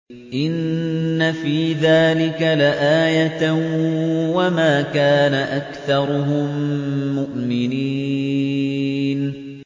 إِنَّ فِي ذَٰلِكَ لَآيَةً ۖ وَمَا كَانَ أَكْثَرُهُم مُّؤْمِنِينَ